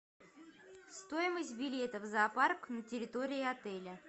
стоимость билетов в зоопарк на территории отеля